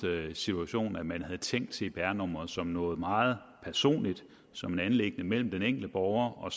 situationen at man havde tænkt cpr nummeret som noget meget personligt som et anliggende mellem den enkelte borger og